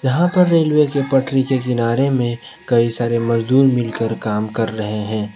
जहां पर रेलवे के पटरी के किनारे में कई सारे मजदूर मिलकर काम कर रहे हैं।